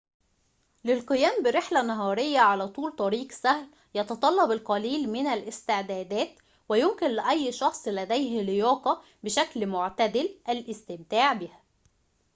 للقيام برحلة نهارية على طول طريق سهل يتطلب القليل من الاستعدادات ويمكن لأي شخص لديه لياقة بشكل معتدل الاستمتاع بها